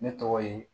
Ne tɔgɔ ye